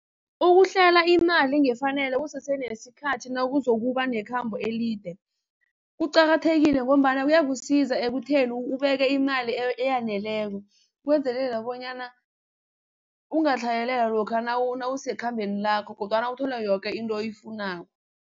Ukuhlela imali ngefanelo kusese nesikhathi nawuzokuba nekhambo elide kuqakathekile ngombana kuyakusiza ekutheni ubeke imali eyaneleko kwenzelela bonyana ungatlhayelelwa lokha nawusekhambeni lakho kodwana uthola yoke into oyifunako.